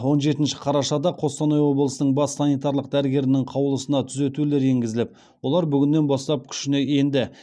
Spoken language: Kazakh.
он жетінші қарашада қостанай облысының бас санитарлық дәрігерінің қаулысына түзетулер енгізіліп олар бүгіннен бастап күшіне енді